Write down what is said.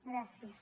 gràcies